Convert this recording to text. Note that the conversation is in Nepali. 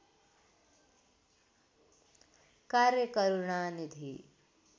कार्य करूणानिधि